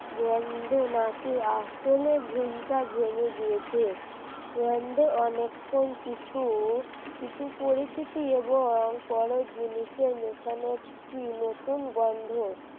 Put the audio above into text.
গন্ধ নাকে আসলে ঘুমটা জেনে গিয়েছে গন্ধ অনেকক্ষণ কিছু কিছু পরিচিতি এবং বড় জিনিসের মেশানোর কি নতুন গন্ধ,